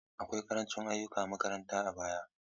Akwai ƙarancin ayyukan makaranta a baya.